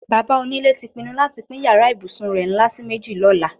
Bàbá onílé ti pinnu láti pín yàrá ìbùsùn rè̩ ńlá sí méjì ló̩la.